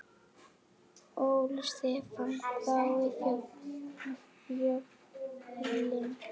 Óli Stefán þá í Fjölni?